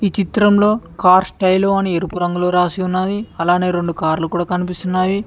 ఈ చిత్రంలో కార్ స్టైల్లో అని ఎరుపు రంగులో రాసి ఉన్నది అలానే రెండు కార్లు కూడా కనిపిస్తున్నాయి.